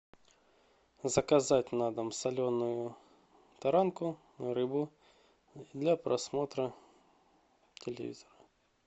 заказать на дом соленую таранку рыбу для просмотра телевизора